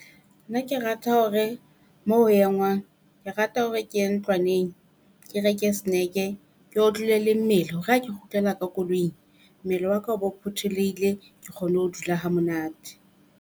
Nna ke rata hore mo ho engwang, ke rata hore ke ye ntlwaneng ke reke snack-e ke otlolle le mmele hore ha ke kgutlela ka koloing. Mmele waka o bo phuthulohile ke kgone ho dula ha monate.